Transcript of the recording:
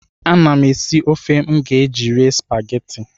Ana m esi ofe m ga-eji rie spagetị.